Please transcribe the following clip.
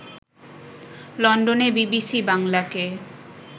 লন্ডনে বিবিসি বাংলাকে